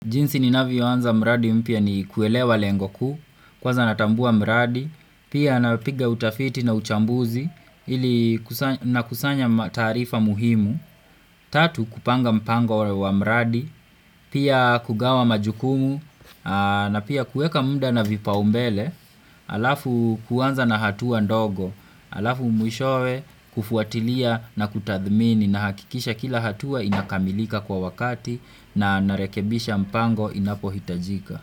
Jinsi ninavyo anza mradi mpya ni kuelewa lengo kuu, kwanza natambua mradi, pia napiga utafiti na uchambuzi, nakusanya taarifa muhimu. Tatu, kupanga mpango wa mradi, pia kugawa majukumu, na pia kuweka muda na vipaumbele, alafu kuanza na hatua ndogo, alafu mwishowe kufuatilia na kutadhmini nahakikisha kila hatua inakamilika kwa wakati na narekebisha mpango inapohitajika.